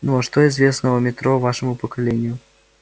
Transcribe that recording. ну а что известно о метро вашему поколению